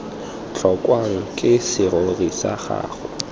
tlhokwang ke serori sa gago